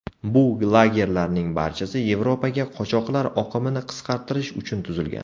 Bu lagerlarning barchasi Yevropaga qochoqlar oqimini qisqartirish uchun tuzilgan.